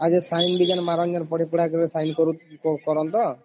ଆଉ sign ମରନ ପଢି ପୁଡ଼ା କରିକି sign କାରଣ ତ ?